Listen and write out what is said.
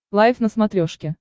лайф на смотрешке